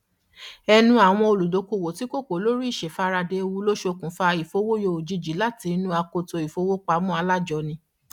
ẹnu àwọn olùdókoòwò tí kò kò lórí ìṣèfaradà ewu ló ṣokùnfà ìfowóyọ òjijì láti inú akoto ìfowópamọ alájọni